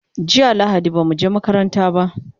jiya lahadi bamu je makaranta ba